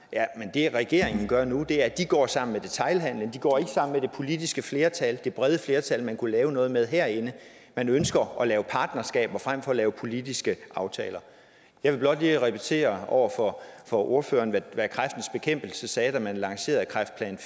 det regeringen gør nu er at de går sammen med detailhandelen de går ikke sammen med det politiske flertal det brede flertal man kunne lave noget med herinde man ønsker at lave partnerskaber frem for at lave politiske aftaler jeg vil blot lige repetere over for for ordføreren hvad kræftens bekæmpelse sagde da man lancerede kræftplan